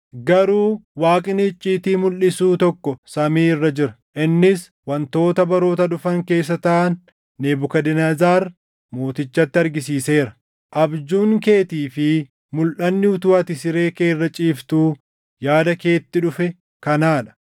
garuu Waaqni icciitii mulʼisuu tokko samii irra jira. Innis wantoota baroota dhufan keessa taʼan Nebukadnezar mootichatti argisiiseera. Abjuun keetii fi mulʼanni utuu ati siree kee irra ciiftuu yaada keetti dhufe kanaa dha: